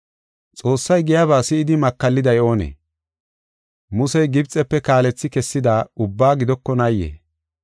Xoossay giyaba si7idi makalliday oonee? Musey Gibxefe kaalethi kessida ubbaa gidokonaayee?